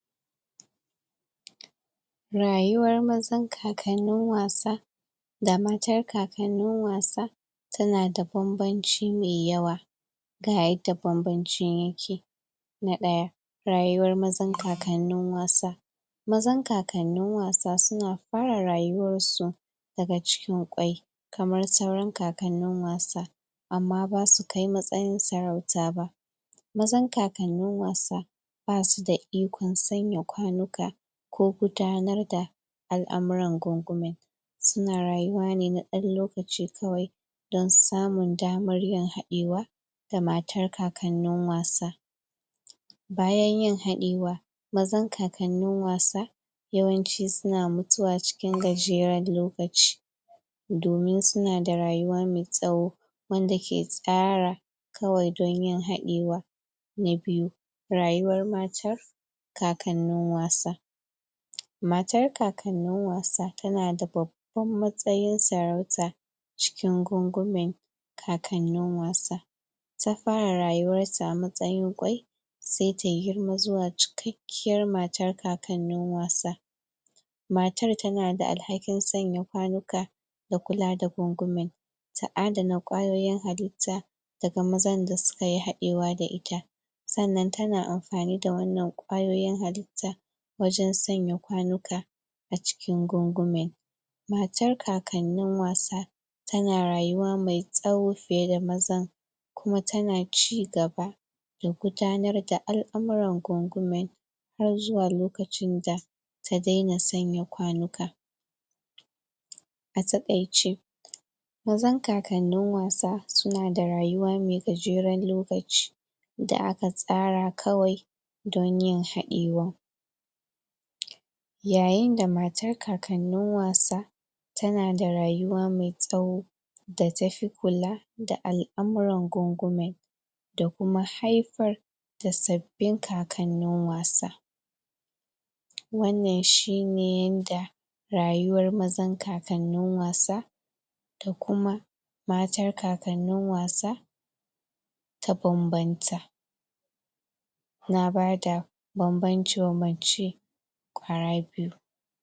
Rayuwar mazan kakanin wasa da matar kakanin wasa ta na da banbanci mai yawa ga yadda babancin ya ke na daya, rayuwar mazan kakanin wasa. Mazan kakanin wasa su na fara rayuwar su da ga cikin kwai, kamar sauran kakanin wasa amma ba su kai matsayin sarauta ba mazan kakanin wasa ba su da ikon tsanya kwanuka ko gudanar da alamuran gungume su na rayuwa ne na dan lokaci kawai dan samur daman yin haɗewa da matar kakanin wasa bayan yin haɗewa, mazan kakanin wasa yawanci su na mutuwa cikin gajeran lokaci domin su na da rayuwa mai tsawo wanda ke tsara, kawai dan yin haɗewa na biyu, rayuwar matar kakanin wasa matar kaknnin wasa, ta na da babban matsayin sarauta cikin gungumen kakanin wasa ta fara rayuwar ta a matsayin kwai sai ta yi girma zuwa cikkakiyar matar kakanin wasa matar ta na da alhakin tsanya kwanuka da kulla da gungumen, ta addana kwayoyin halitta da ga mazan da su ka yi haɗewar da ita, tsannan ta na amfani da wannan kwayoyin halitta wajen tsanya kwanuka, a cikin gungumen matar kakanin wasa ta na rayuwa mai tsawo fiye da mazan kuma ta na cigaba da gudanar da alummoran gungumen har zuwa lokacin da, ta dena tsanya kwanuka a takaici mazan kakanin wasa su na da rayuwa mai gajeran lokaci da aka tsara kawai, don yin haɗewan yayin da matar kakanin wasa ta na da rayuwa mai tsawo da ta fi kulla, da alamuran gungume da kuma haifar da sabbin kakanin wasa wannan shi ne yanda rayuwar mazan kakanin wasa ta kuma matar kakanin wasa ta banbanta na ba da banbanci-banbance kwara biyu.